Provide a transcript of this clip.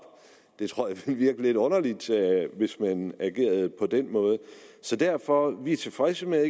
jeg tror det vil virke lidt underligt hvis man agerede på den måde så derfor er vi tilfredse med